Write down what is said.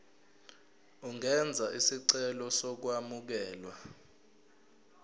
ungenza isicelo sokwamukelwa